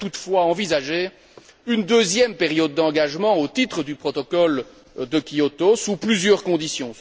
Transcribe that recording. Elle pourrait toutefois envisager une deuxième période d'engagement au titre du protocole de Kyoto sous plusieurs conditions.